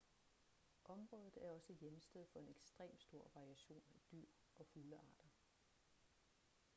området er også hjemsted for en ekstrem stor variation af dyr og fuglearter